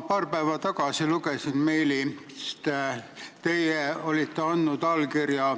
Ma paar päeva tagasi lugesin meilist, et te olite andnud allkirja